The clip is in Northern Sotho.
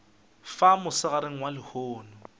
fa mosegareng wa lehono ka